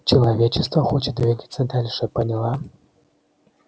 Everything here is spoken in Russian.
человечество хочет двигаться дальше поняла